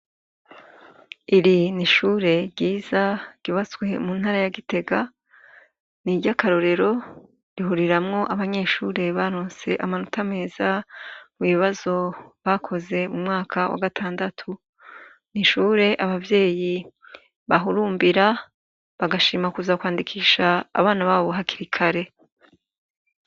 Iri ni ishure ryiza gibaswe mu ntara ya gitega ni iryo akarorero rihuriramwo abanyeshure barontse amanota meza mw'ibibazo bakoze mu mwaka wa gatandatu ni ishure abavyeyi bahurumbira bagashima kuza kwande ikisha abana babo hakira ikare.